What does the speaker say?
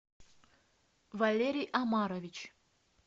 валерий омарович